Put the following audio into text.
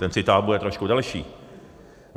Ten citát bude trošku delší.